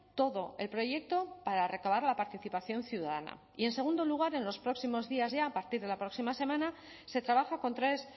todo el proyecto para recabar la participación ciudadana y en segundo lugar en los próximos días ya a partir de la próxima semana se trabaja con tres